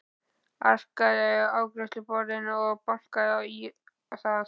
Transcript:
Arkaði að afgreiðsluborðinu og bankaði á það.